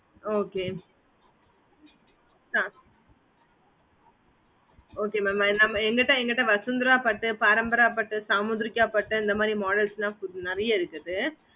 okay okay mam என்கிட்டே என்கிட்டே vasunthra பட்டு பரம்பரை பட்டு சாமுந்திரிக்க பட்டு அந்த மாதிரி models ல நேரிய இருக்குது